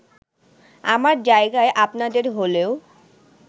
আমার জায়গায় আপনাদের হলেও